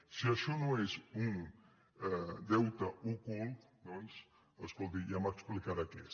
si això no és un deute ocult doncs escolti’m ja m’explicarà què és